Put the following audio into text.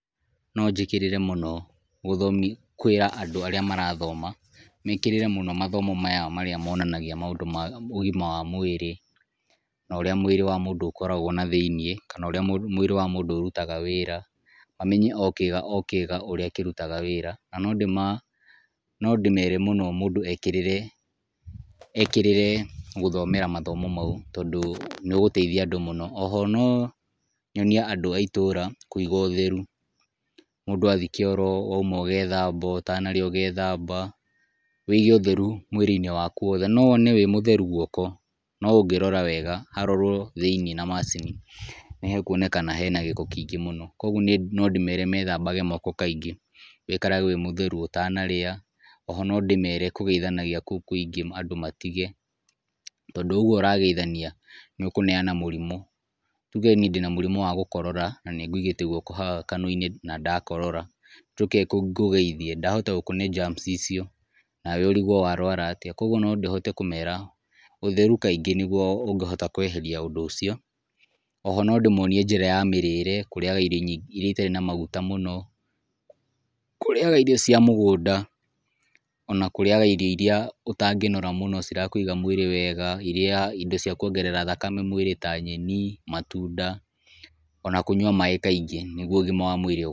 No njĩkĩrĩre mũno ũthomi kwĩra andũ arĩa marathoma, mekĩrĩre mũno mathomo maya marĩa monanagia maũndũ ma ũgima wa mwĩrĩ, na ũrĩa mwĩrĩ wa mũndũ ũkoragwo nathĩiniĩ, kana ũrĩa mwĩrĩ wamũndũ ũrutaga wĩra. Mamenye o kĩga o kĩga ũrĩa kĩrutaga wĩra. Na nondĩmere mũno mũndũ ekĩrĩre ekĩrĩre gũthomera mathomo mau, tondũ nĩũgũteithia andũ mũno. Oho no nyonie andũ a itũra kũiga ũtheru. Mũndũ athiĩ kĩoro wauma ũgethamba, ũtanarĩa ũgethamba, wĩige ũtheru mwĩrĩ-inĩ waku wothe. No wone wĩ mũtheru guoko, no ũngĩrora wega harorwo thĩiniĩ na macini, nĩhekuonekana hena gĩko kĩingĩ mũno, kuoguo niĩ no ndĩmere methambage gũoko kaingĩ. Wĩikarage wĩ mũtheru ũtanarĩa. Oho no ndĩmere kũgeithanagia kũu kũingĩ andũ matige, tondũ oũguo ũrageithania nĩũkũneana mũrimũ. Tuge niĩ ndĩnamũrimũ wa gũkorora na nĩngũigĩte guoko haha kanua-inĩ na ndakorora, njoke ngũgeithie, ndahota gũkũne germs icio, nawe ũrigwo warwara atĩa, kuoguo no hote kũmera, ũtheru kaingĩ nĩguo ũngĩhota kweheria ũndũ ũcio. Oho no ndĩmonie njĩra ya mĩrĩre, kũrĩaga irio iria itarĩ na maguta mũno, kũrĩaga irio cia mũgũnda ona kũrĩaga irio iria ũtangĩnora mũno cirakũiga mwĩrĩ wega, iria indo cia kuongerera thakame mwĩrĩ ta nyeni, matunda ona kũnyua maĩ kaingĩ nĩguo ũgima wa mwĩrĩ.